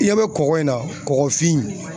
I ɲɛ bɛ kɔgɔ in na, kɔgɔfin.